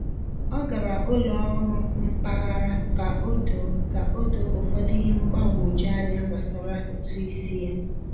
Ọ gara ụlọ ọrụ mpaghara ka o doo ka o doo ụfọdụ ihe mgbagwoju anya gbasara ụtụ isi ya.